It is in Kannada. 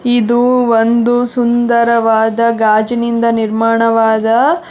ಇದು ಒಂದು ಸುಂದರವಾದ ಗಾಜಿನಿಂದ ನಿರ್ಮಾಣವಾದ--